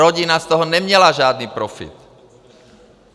Rodina z toho neměla žádný profit.